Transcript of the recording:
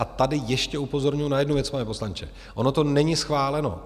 A tady ještě upozorňuju na jednu věc, pane poslanče: ono to není schváleno.